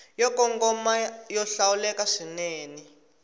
yo kongoma yo hlawuleka swinene